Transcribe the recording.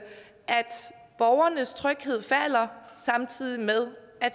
borgernes tryghed falder samtidig med at